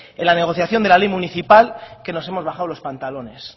en la negociación de la ley municipal que nos hemos bajado los pantalones